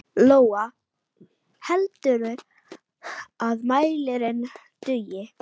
Lóa: Heldurðu að mælirinn dugi?